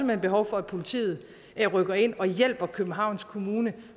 hen behov for at politiet rykker ind og hjælper københavns kommune